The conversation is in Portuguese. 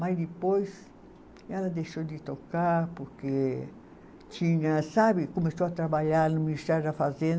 Mas depois ela deixou de tocar porque tinha, sabe, começou a trabalhar no Ministério da Fazen